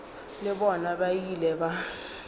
le bona ba ile ba